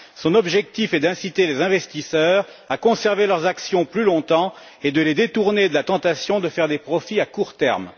Son objectif est d'inciter les investisseurs à conserver leurs actions plus longtemps et de les détourner de la tentation de faire des profits à court terme.